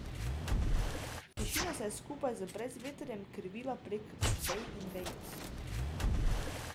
Tišina se je skupaj z brezvetrjem krivila prek vej in vejic.